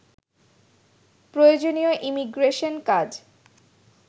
প্রয়োজনীয় ইমিগ্রেশন কাজ